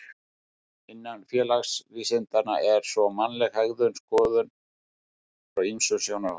Innan félagsvísindanna er svo mannleg hegðun skoðuð frá ýmsum sjónarhornum.